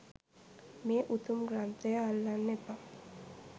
මේ උතුම් ග්‍රන්ථය අල්ලන්න එපා